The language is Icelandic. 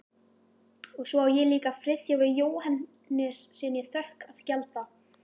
Og svo á ég líka Friðþjófi Jóhannessyni þökk að gjalda